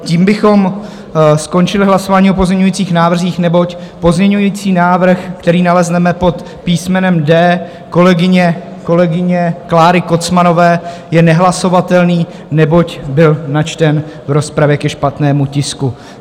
Tím bychom skončili hlasování o pozměňovacích návrzích, neboť pozměňovací návrh, který nalezneme pod písmenem D kolegyně Kláry Kocmanové, je nehlasovatelný, neboť byl načten v rozpravě ke špatnému tisku.